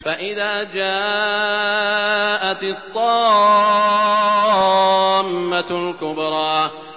فَإِذَا جَاءَتِ الطَّامَّةُ الْكُبْرَىٰ